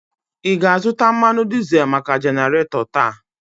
Ị ga-azụta mmanụ dizel maka jenaratọ taa?